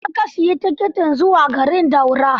A ina ka siyi tikitin zuwa garin Daura?